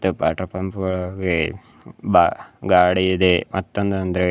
Water pump ಗೋಳ ಇವೆ ಬಾ ಗಾಡಿ ಇದೇ ಮತ್ತೊಂದು ಅಂದ್ರೆ.